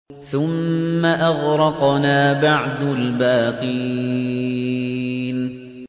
ثُمَّ أَغْرَقْنَا بَعْدُ الْبَاقِينَ